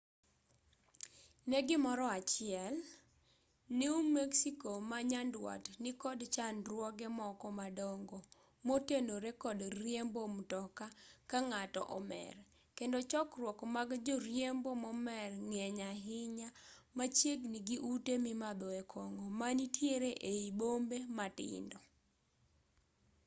ne gimoro achiel new mexico ma nyandwat nikod chandruoge moko madongo motenore kod riembo mtoka ka ng'ato omer kendo chokruok mag joriembo momer ng'eny ahinya machiegni gi ute mimadhoe kong'o manitiere ei bombe matindo